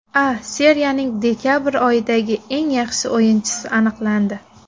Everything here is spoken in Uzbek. A Seriyaning dekabr oyidagi eng yaxshi o‘yinchisi aniqlandi.